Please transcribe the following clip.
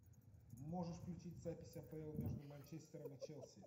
можешь включить запись апл между манчестером и челси